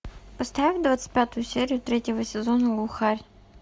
поставь двадцать пятую серию третьего сезона глухарь